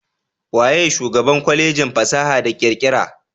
Waye shugaban Kwalejin fasaha da kirkira?